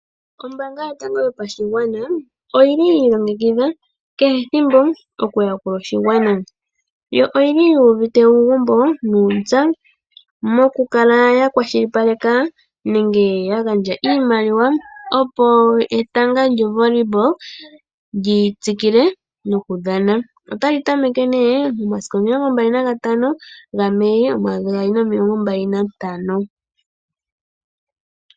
Ombanga yotanago yopashigwana oyili yi ilongekidha kehe ethimbo oku yakula oshigwana, yo yoili yu uvite uugumbo niinza mokukala ya kwashilipaleka nenge ya gandja iimaliwa opo eta lyo Vollwyball lyi tsikile noku dhana otali tameke momasiku omilongo mbali naga tano gameyi omayovi omilongo mbali na ntano.